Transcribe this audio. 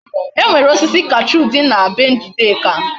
E nwere osisi cashew di na be njideka